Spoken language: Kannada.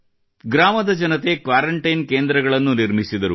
ಗ್ರಾಮದ ಜನತೆ ಕ್ವಾರಂಟೈನ್ ಕೇಂದ್ರಗಳನ್ನು ನಿರ್ಮಿಸಿದರು